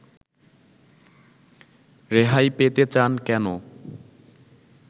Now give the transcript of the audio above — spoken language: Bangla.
রেহাই পেতে চান কেন